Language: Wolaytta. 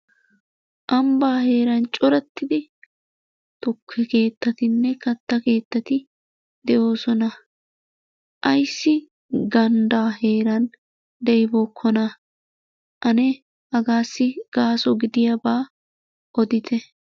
Ambba heeran corattidi tukke keettatinne kattaa keettati de'oosona. Ayssi gandda heeran de'ibookona? Ane hagassi gaaso gidiyaaba odite.